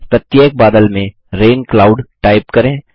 प्रत्येक बादल में रैन क्लाउड टाइप करें